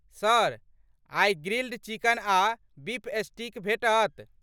Sir, आइ grilled chicken आ beef steak भेटत।